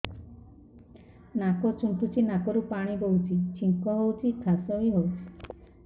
ନାକ ଚୁଣ୍ଟୁଚି ନାକରୁ ପାଣି ବହୁଛି ଛିଙ୍କ ହଉଚି ଖାସ ବି ହଉଚି